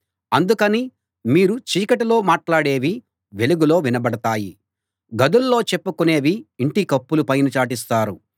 అందుకని మీరు చీకటిలో మాట్లాడేవి వెలుగులో వినబడతాయి గదుల్లో చెప్పుకునేవి ఇంటి కప్పుల పైన చాటిస్తారు